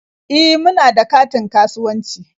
E, muna da katin kasuwanci.